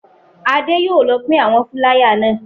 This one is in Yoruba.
Adé yóò lọ pín àwọn fúláyà náà.